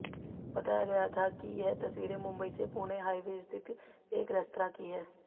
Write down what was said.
बताया गया था कि यह तस्वीरें मुंबई से पुणे हाइवे स्थित एक रेस्तरां की हैं